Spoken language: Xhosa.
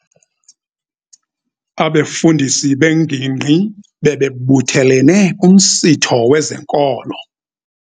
Abefundisi bengingqi bebebuthelene kumsitho wezenkolo.